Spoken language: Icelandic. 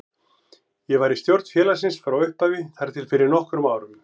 Ég var í stjórn félagsins frá upphafi þar til fyrir nokkrum árum.